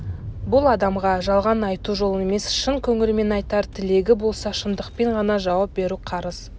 бұл адамға жалған айту жол емес шын көңілмен айтар тілегі болса шындықпен ғана жауап беру қарыз